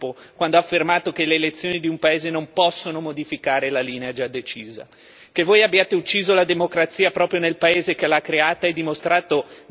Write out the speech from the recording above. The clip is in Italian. Lo ha fatto ieri, tradendo le reali intenzioni di questa Europa il Presidente dell'Eurogruppo quando ha affermato che le elezioni di un paese non possono modificare la linea già decisa.